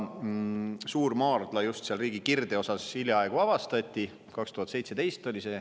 Suurmaardla just seal riigi kirdeosas hiljaaegu avastati, see oli aastal 2017.